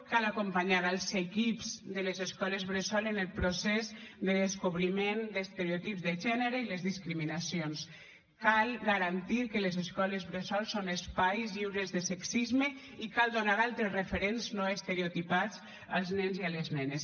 cal acompanyar els equips de l’escoles bressol en el procés de descobriment d’estereotips de gènere i les discriminacions cal garantir que les escoles bressol són espais lliures de sexisme i cal donar altres referents no estereotipats als nens i a les nenes